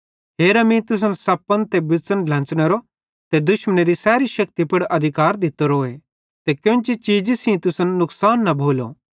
हेरा मीं तुसन सप्पन ते बिच़न ड्लेंच़नेरो ते दुश्मनेरी शैतानेरी सैरी शेक्ति पुड़ अधिकारे दित्तोरोए ते केन्ची चीज़ी सेइं तुसन नुकसान न भोलो